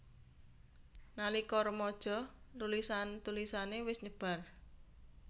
Nalika remaja tulisan tulisané wis nyebar